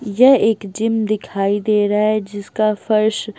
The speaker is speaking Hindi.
यह एक जिम दिखाई दे रहा है जिसका फर्श--